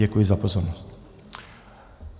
Děkuji za pozornost.